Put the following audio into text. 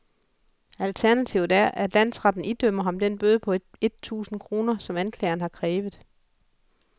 Alternativet er, at landsretten idømmer ham den bøde på et tusinde kroner, som anklageren har krævet.